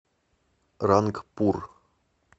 рангпур